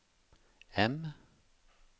M